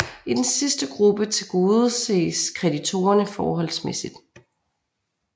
I den sidste gruppe tilgodeses kreditorerne forholdsmæssigt